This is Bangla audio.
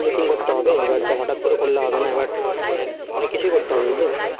meeting করতে হবে হটাৎ করে করলে তো হবে না এবার কিছু করতে হবে বুঝলি